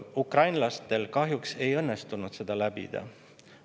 Ukrainlastel kahjuks ei õnnestunud seda läbida.